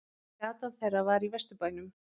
Gatan þeirra var í Vesturbænum.